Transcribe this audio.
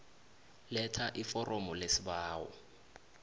letha iforomo lesibawo